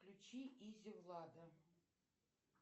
включи изи влада